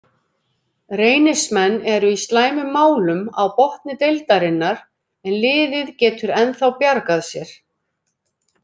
Reynismenn eru í slæmum málum á botni deildarinnar en liðið getur ennþá bjargað sér.